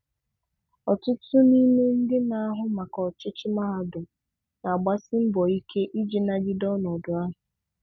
Ọtụtụ n’ime ndị na-ahụ maka ọchịchị mahadum na-agbasi mbọ ike iji nagide ọnọdụ ahụ.